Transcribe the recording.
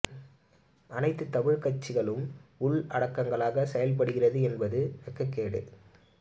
அனைத்து தமிழ் கட்சிகளும் உள் அடங்களாக செயள் படுகிறது என்பதும் வெக்ககேடு